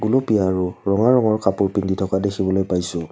গুলপীয়া আৰু ৰঙা ৰঙৰ কাপোৰ পিন্ধি থকা দেখিবলৈ পাইছোঁ।